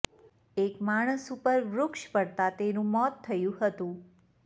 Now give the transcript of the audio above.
એક માણસ ઉપર વૃક્ષ પડતા તેનુ મોત થયુ હતું